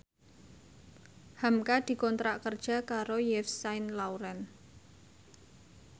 hamka dikontrak kerja karo Yves Saint Laurent